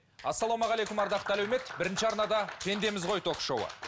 ассаламағалейкум ардақты әлеумет бірінші арнада пендеміз ғой ток шоуы